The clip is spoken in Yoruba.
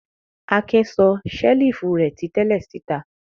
Akin sọ ṣẹ́lífù rẹ̀ ti tẹ́lẹ̀ síta.